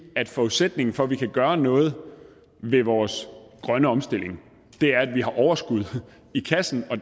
at forudsætningen for at vi kan gøre noget ved vores grønne omstilling er at vi har overskud i kassen og